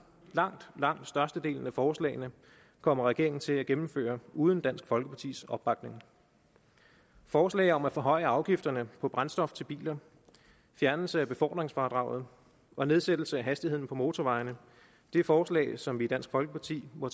langt langt størstedelen af forslagene kommer regeringen til at gennemføre uden dansk folkepartis opbakning forslaget om at forhøje afgifterne på brændstof til biler fjernelse af befordringsfradraget og nedsættelse af hastigheden på motorvejene er forslag som vi i dansk folkeparti må